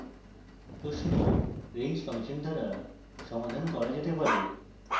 প্রশ্ন range function দ্বারা সমাধান করা যেতে পারে